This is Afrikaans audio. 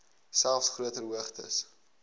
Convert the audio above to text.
selfs groter hoogtes